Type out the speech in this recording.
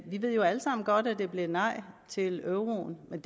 vi ved jo alle sammen godt at det blev et nej til euroen men